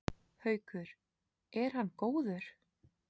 Haukur: Er hann góður?